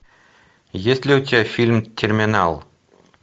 есть ли у тебя фильм терминал